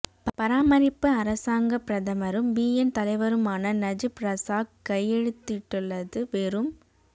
பராமரிப்பு அரசாங்கப் பிரதமரும் பிஎன் தலைவருமான நஜிப் ரசாக் கையெழுத்திட்டுள்ளது வெறும்